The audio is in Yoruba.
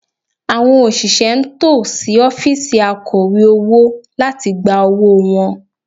Àwọn òṣìṣẹ́ ń tò sí ọ́fíìsì Akọ̀wé owó láti gba owó wọn